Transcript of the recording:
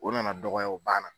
O nana dɔgɔya banna.